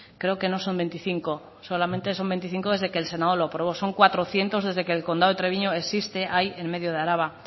creo que no son veinticinco solamente son veinticinco desde que el senado lo aprobó son cuatrocientos desde que el condado de treviño existe ahí en medio de araba